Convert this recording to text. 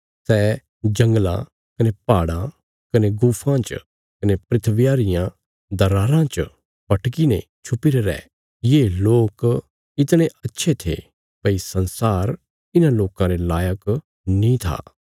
सै जंगलां कने पहाड़ां कने गुफां च कने धरतिया रियां दराराँ च भटकीने छुपीरे रै ये लोक इतणे अच्छे थे भई संसार इन्हां लोकां रे लायक नीं था